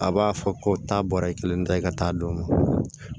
A b'a fɔ ko taa bɔra i kelen ta i ka taa don ma